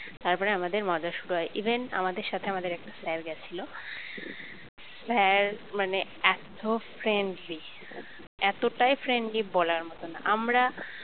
তারপরে আমাদের মজা শুরু হয় even আমাদের সাথে আমাদের একটা sir গেছিল sir মানে এত friendly এতটাই friendly বলার মতো না আমরা